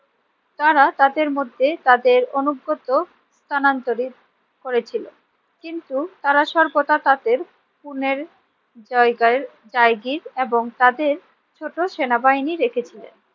তারা তাদের মধ্যে তাদের অনুগত স্থানান্তরিত করেছিলেন। কিন্তু তারা সর্বদা তাদের পুনের জায়গার জায়গীর এবং তাদের ছোট সেনাবাহিনী রেখেছিলেন।